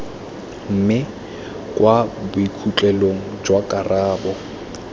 mme kwa bokhutlong jwa karabo